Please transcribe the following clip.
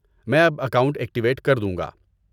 میں اب account activate کر دوں گا۔